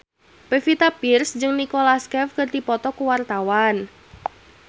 Pevita Pearce jeung Nicholas Cafe keur dipoto ku wartawan